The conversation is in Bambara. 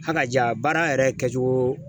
Hakaja baara yɛrɛ kɛcogo